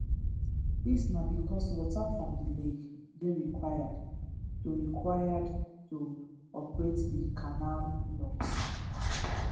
dis na becos water from di lake dey required to required to operate di canal locks